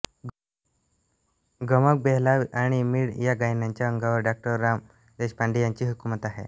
गमक बेहलाव आणि मींड या गायनाच्या अंगांवर डॉ राम देशपांडे यांची हुकूमत आहे